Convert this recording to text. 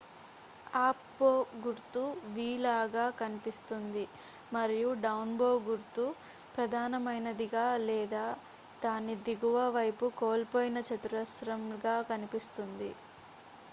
"""Up bow" గుర్తు v లాగా కనిపిస్తుంది మరియు "డౌన్ బో గుర్తు" ప్రధానమైనదిగా లేదా దాని దిగువ వైపు కోల్పోయిన చతురస్రంగా కనిపిస్తుంది.